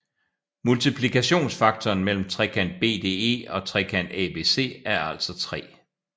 Multiplikationsfaktoren mellem trekant BDE og trekant ABC er altså 3